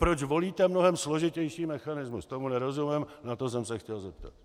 Proč volíte mnohem složitější mechanismus, tomu nerozumím a na to jsem se chtěl zeptat.